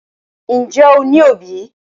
Ǹjẹ́ o ní òbí?